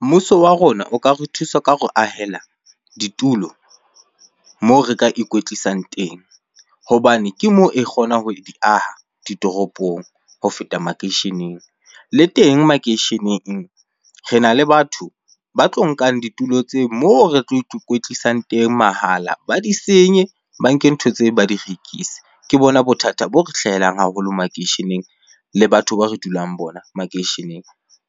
Mmuso wa rona o ka re thusa ka hore ahela ditulo moo re ka ikwetlisang teng hobane ke moo e kgonang ho di aha ditoropong ho feta makeisheneng. Le teng makeisheneng rena le batho ba tlo nkang ditulo tseo moo re tlo ikwetlisang teng mahala ba di senye, ba nke ntho tseo ba di rekise. Ke bona bothata bo re hlahelang haholo makeisheneng le batho ba re dulang bona makeisheneng